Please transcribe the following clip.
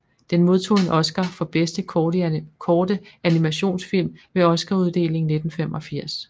Den modtog en Oscar for bedste korte animationsfilm ved Oscaruddelingen 1985